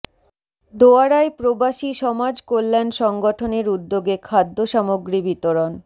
দোয়ারায় প্রবাসী সমাজ কল্যাণ সংগঠনের উদ্যোগে খাদ্য সামগ্রী বিতরণ